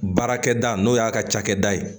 Baarakɛda n'o y'a ka cakɛda ye